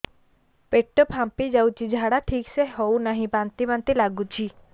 ପେଟ ଫାମ୍ପି ଯାଉଛି ଝାଡା ଠିକ ସେ ହଉନାହିଁ ବାନ୍ତି ବାନ୍ତି ଲଗୁଛି